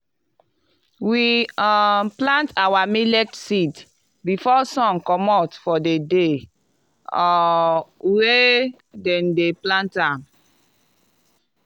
we um plant our millet seed before sun comot for di day um wey dem dey plant am.